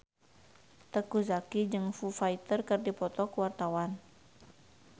Teuku Zacky jeung Foo Fighter keur dipoto ku wartawan